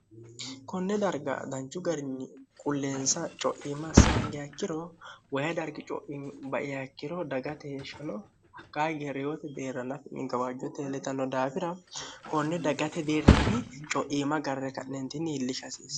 konne darga danchu garinni qulleensa coiima saanga yakkiro wayi dargi coiba'yaakkiro dagate heeshshino hakkaage reyoote beera lafi migawaajjo teeletanno daabira konne dagate deerrinni coiima garre ka'neentinni hiillishi haasiiss